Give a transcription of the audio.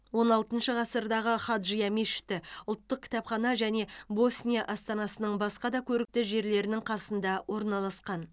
он алтыншы ғасырдағы хаджия мешіті ұлттық кітапхана және босния астанасының басқа да көрікті жерлерінің қасында орналасқан